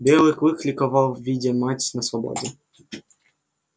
белый клык ликовал видя мать на свободе